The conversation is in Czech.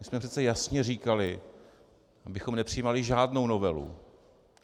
My jsme přece jasně říkali, abychom nepřijímali žádnou novelu.